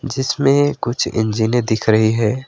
जिसमें कुछ इंजने दिख रही है।